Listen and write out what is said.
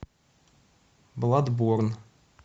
бладборн